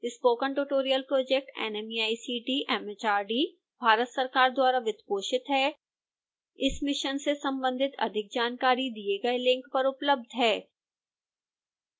spoken tutorial project nmeict mhrd Bharat सरकार द्वारा वित्तपोषित है इस मिशन से संबंधित अधिक जानकारी दिए गए लिंक पर उपलब्ध है